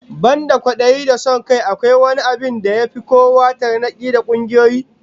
Banda kwadayi da son kai, akwai wani abin da ya fi kawo tarnaki ga kungiyoyi?